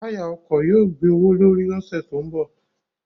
Táyà ọkọ̀ yóò gbé owó l'órí ní ọ̀sẹ̀ tó ń bọ̀.